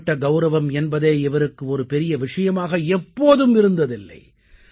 தனிப்பட்ட கௌரவம் என்பதே இவருக்கு ஒரு பெரிய விஷயமாக எப்போதும் இருந்ததில்லை